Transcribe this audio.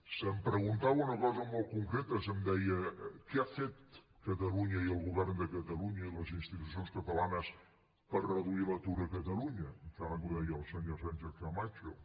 se’m preguntava una cosa molt concreta se’m deia què ha fet catalunya i el govern de catalunya i les institucions catalanes per reduir l’atur a catalunya em sembla que ho deia la senyora sánchez camacho